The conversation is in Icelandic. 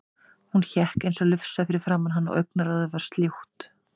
Hún hékk eins og lufsa fyrir framan hann og augnaráðið var sljótt.